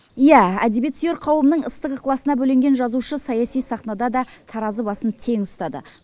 иә әдебиетсүйер қауымның ыстық ықыласына бөленген жазушы саяси сахнада да таразы басын тең ұстады